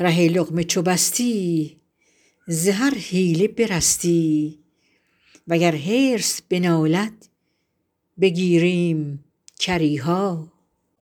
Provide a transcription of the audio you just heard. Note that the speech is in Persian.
ره لقمه چو بستی ز هر حیله برستی وگر حرص بنالد بگیریم کری ها